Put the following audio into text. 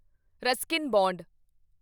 Ruskin bond